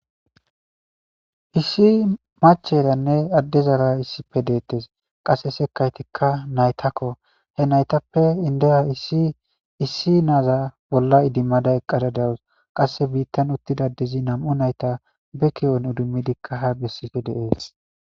issi macheranne adde zara issipe deettes qasse sekaytikka naytakko he naytappe indeya issi naaza bolla idimmada eqqada dawus qasse biittan uttidadezi nam7u nayta beki7on udumidikka ha bessife deees